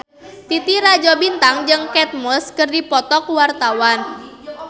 Titi Rajo Bintang jeung Kate Moss keur dipoto ku wartawan